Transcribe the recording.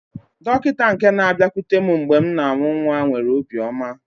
Dọkịta nke na-abịakwute m mgbe m na-amụ nwa nwere obiọma.